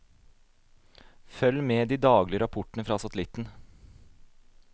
Følg med de daglige rapportene fra satellitten.